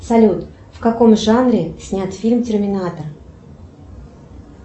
салют в каком жанре снят фильм терминатор